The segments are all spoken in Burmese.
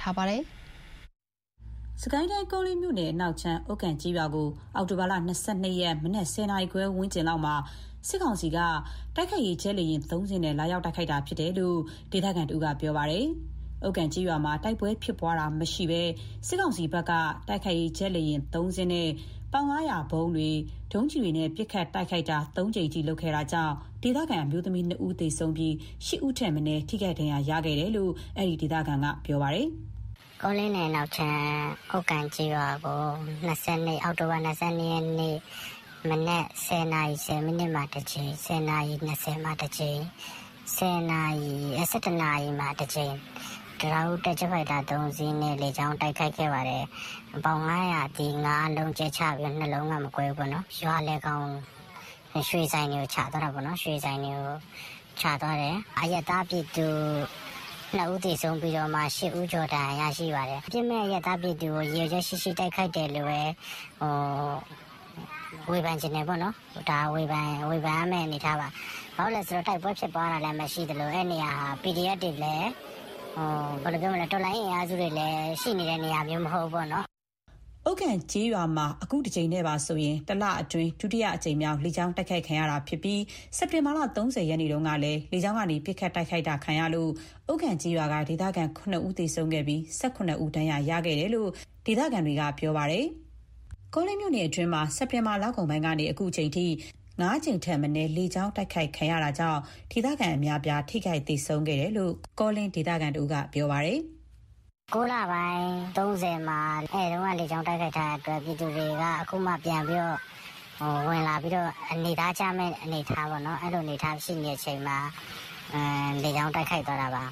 ထားပါတယ်။ စစ်ကိုင်းတိုင်း၊ ကောလင်းမြို့အနောက်ခြမ်း ဥက္ကံကျေးရွာကို အောက်တိုဘာ ၂၂ ရက်နေ့ မနက် ၁၀နာရီခွဲ အချိန်ဝန်းကျင်မှာ စစ်ကောင်စီက တိုက်ခိုက်ရေး ဂျက်လေယာဉ် ၃ စီးနဲ့ လာရောက်တိုက်ခိုက်ခဲ့တာဖြစ်တယ်လို့ ကောလင်း ပြန်ကြားရေးတာဝန်ခံက ပြောပါတယ်။ ဥက္ကံကျေးရွာမှာ တိုက်ပွဲဖြစ်ပွားတာမရှိဘဲ စစ်ကောင်စီဘက်က တိုက်ခိုက်ရေး ဂျက်လေယာဉ် ၃ စီးနဲ့ ပေါင် ၅၀၀ ဗုံးတွေ၊ missile ဒုံးတွေနဲ့ ပစ်ခတ် ၃ ကြိမ်ပစ်ခတ်ခဲ့တာကြောင့် ဒေသခံ အမျိုးသမီး ၂ ဦးသေဆုံးပြီး ၈ ဦးထက်မနည်းဒဏ်ရာရခဲ့တယ်လို့ ကောလင်းပြန်ကြားရေး တာဝန်ခံက ခုလိုပြောပါတယ်။ “ကောလင်းနယ်အနောက်ခြမ်း ဥက္ကံကျေးရွာကို အောက်တိုဘာ ၂၂ ရက်နေ့ မနက် ၁၀ နာရီ ၁၀ မိနစ်မှာ တစ်ကြိမ်၊ ၁၀ နာရီ ၂၀ မှာ တစ်ကြိမ်၊ ၁၁ နာရီ မှာ တစ်ကြိမ်၊ တံတားဦးတက် ဂျက်ဖိုက်တာ ၃ စီနဲ့ လေကြောင်းတိုက်ခိုက်ခဲ့ပါတယ်။ ပေါင် ၅၀၀ ၅ လုံးကြဲတာ ၂ လုံးကမကွဲဘူးပေါ့နော်။ ရွာလယ်ကောင်က ရွှေဆိုင်တွေကို ချသွားတာပေါ့။ အရပ်သား ၂ ဦးသေဆုံးပြီးတော့ ၈ ဦး ဒဏ်ရာရပါတယ်။ အပြစ်မဲ့ အရပ်သားပြည်သူတွေကို ရည်ရွယ်ချက် ရှိရှိတိုက်ခိုက်တယ်လို့ပဲ ဝေဖန်ချင်တယ်ပေါ့နော်။ အဲ့လိုပဲ ဝေဖန်ရမှာပေါ့။ ဘာလို့လဲဆို တိုက်ပွဲဖြစ်ပွားခြင်းလဲ မရှိသလို အဲ့နေရာဟာ PDF တွေလဲ တော်လှန်ရေး အင်အားစုတွေလည်း ရှိနေတဲ့နေရာမျိုးမဟုတ်ဘူးပေါ့နော်။” ဥက္ကံကျေးရွာမှာ တစ်လအတွင်း ဒုတိယအကြိမ်မြောက် လေကြောင်းတိုက်ခိုက်ခံရတာဖြစ်ပြီး စက်တင်ဘာ ၃၀ရက်နေ့ကလည်း လေကြောင်းကနေ ပစ်ခတ်တိုက်ခိုက်တာကြောင့် ဥက္ကံကျေးရွာကဒေသခံ ၇ ဦး သေဆုံးခဲ့ပြီး ၁၇ ဦး ဒဏ်ရာ ရခဲ့တယ်လို့ ဒေသခံတွေနဲ့ ကောလင်းပြန်ကြားရေး တာဝန်ခံကပြောပါတယ်။ ကောလင်းမြို့နယ်အတွင်းမှာ စက်တင်ဘာလကုန်ပိုင်းကနေ အခုအချိန်ထိ ၅ ကြိမ်ထက်နည်း လေကြောင်းတိုက်ခိုက်ခံရတာကြောင့် ဒေသခံအများအပြား ထိခိုက်သေဆုံးခဲ့တယ်လို့ ကောလင်းမြို့နယ် ပြန်ကြားရေး တာဝန်ခံက ခုလိုပြောပါတယ်။ “၉ လပိုင်း ၃၀ မှာ အဲ့တုန်းက တစ်ကြိမ် လေကြောင်း တိုက်ခိုက်ထားတာကြောင့် ပြည်သူတွေက ခုမှပြန်ပြီးတော့ (ရွာကို) ဝင်လာပြီးတော့ ခုမှ နေသားကျမယ့်အနေအထားပေါ့နော်၊ အဲ့လို အနေအထားရှိမယ့် အချိန်မှာ လေကြောင်းတိုက်ခိုက်သွားတာပါ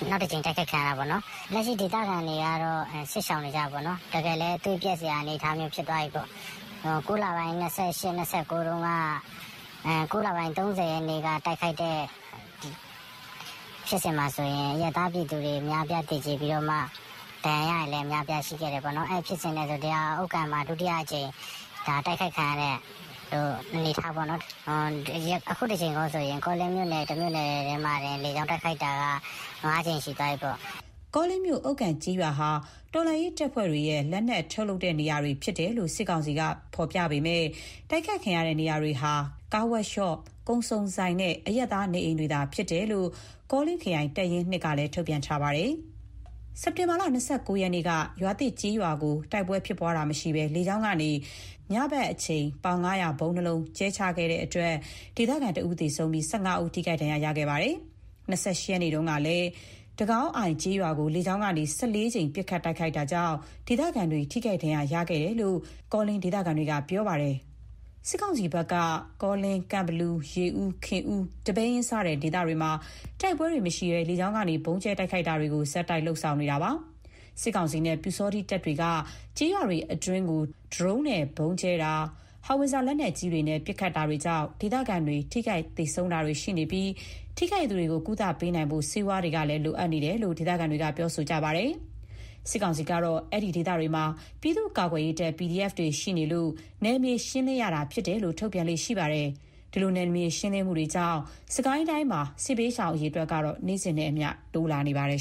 ၊ နောက်တစ်ကြိမ် တိုက်ခိုက်ခံရတာပေါ့နော်။ လက်ရှိ ဒေသခံတွေကတော့ စစ်ရှောင်နေကြတယ်ပေါ့နော်။ တကယ်လဲ သွေးပျက်စရာ အနေအထားမျိုး ဖြစ်သွားပြီပေါ့။ ၉ လပိုင်း ၂၈၊ ၂၉၊ ၃၀ ရက်တွေမှာ တိုက်ခိုက်တဲ့ ဖြစ်စဉ်မှာဆိုရင် အရပ်သားပြည်သူတွေ အများအပြားသေကြေပြီးတော့မှ ဒဏ်ရာရတာတွေလည်း အများကြီးရှိခဲ့တယ်ပေါ့နော်။ အဲ့ဒီဖြစ်စဉ်နဲ့ဆို ဒါဟာ ဥက္ကံမှာ ဒုတိယအကြိမ် တိုက်ခိုက်ခံရတာပေါ့။ အခု တစ်ကြိမ်ကော ဆိုရင် ကောလင်းမြို့နယ် တမြို့နယ်တည်းမှာတင် လေကြောင်းတိုက်ခိုက်တာက ၅ ကြိမ်ရှိသွားပြီပေါ့။” စစ်ကောင်စီဘက်က ကောလင်းမြို့ ဥက္ကံကျေးရွာဟာ တော်လှန်ရေး တပ်ဖွဲ့တွေရဲ့ လက်နက်ထုတ်လုပ်ရေး နေရာတွေဖြစ်တယ်လို့ ဖော်ပြပေမယ့် တိုက်ခိုက်ခံရတဲ့ နေရာတွေဟာ ကားဝပ်ရှော့၊ ကုန်စုံဆိုင်နဲ့ အရပ်သား နေအိမ်တွေသာ ဖြစ်တယ်လို့ ကောလင်းခရိုင် တပ်ရင်း ၂ ကလည်း ထုတ်ပြန်ထားပါတယ်။ စက်တင်ဘာ ၂၉ ရက်နေ့က ရွာသစ် ကျေးရွာကို တိုက်ပွဲဖြစ်ပွားခြင်းမရှိဘဲ လေကြောင်းကနေ ညအချိန် ပေါင် ၅၀၀ ဗုံး ၂ လုံးကြဲချ တိုက်ခိုက်ခဲ့တဲ့အတွက် ဒေသခံ ၁ဦးသေဆုံးပြီး ၁၅ ဦး ထိခိုက်ဒဏ်ရာ ရခဲ့ပါတယ်။ ၂၈ ရက်နေ့ကလည်း တဂေါင်းအိုင်ကျေးရွာကို လေကြောင်းကနေ ၁၄ ကြိမ် ပစ်ခတ်တိုက်ခိုက်ခဲ့တဲ့အတွက် ဒေသခံတွေ ထိခိုက်ဒဏ်ရာ ရခဲ့ကြတယ်လို့ ကောလင်း ပြန်ကြားရေး တာဝန်ခံက ပြောပါတယ်။ စစ်ကောင်စီဘက်က ကောလင်း၊ ကန့်ဘလူ၊ ရေဦး၊ ခင်ဦး၊ ဒီပဲယင်းစတဲ့ ဒေသတွေမှာ တိုက်ပွဲတွေမရှိဘဲ လေကြောင်းကနေ ဗုံးကြဲတိုက်ခိုက်မှုတွေ ဆက်တိုက်လုပ်ဆောင်နေတာဖြစ်ပါတယ်။ စစ်ကောင်စီနဲ့ ပျူစောထီးတပ်တွေက ကျေးရွာတွေအတွင်းကို ဒရုန်းနဲ့ ဗုံးကြဲတာ၊ ဟောင်ဝစ်ဇာ လက်နက်ကြီးတွေနဲ့ပစ်ခတ်တာတွေကြောင့် ဒေသခံတွေ ထိခိုက်သေဆုံးတာတွေလည်း ရှိနေပြီး ထိခိုက်သူတွေ ကုသပေးနိုင်ဖို့ ဆေးဝါးလိုအပ်ချက်တွေရှိတယ်လို့လည်း ဒေသခံတွေပြောပါတယ်။ စစ်ကောင်စီကတော့ အဲ့ဒီဒေသတွေမှာ ပြည်သူ့ကာကွယ်ရေးတပ် PDF တွေရှိနေလို့ နယ်မြေရှင်းလင်းရတာဖြစ်တယ်လို့ ထုတ်ပြန်လေ့ရှိပါတယ်။ ဒီလို နယ်မြေရှင်းလင်းမှုတွေကြောင့် စစ်ကိုင်းတိုင်းမှာ စစ်ဘေးရှောင်အရေအတွက်က နေ့စဉ်နဲ့အမျှတဖြည်းဖြည်းတိုးလာနေပါတယ်